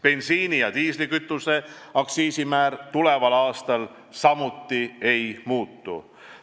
Bensiini ja diislikütuse aktsiisimäär tuleval aastal samuti ei muutu.